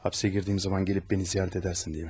Həbsə girdiyim zaman gəlib məni ziyarət edəsən deyə.